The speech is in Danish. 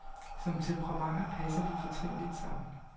Som temperamenter passer de fortrinligt sammen.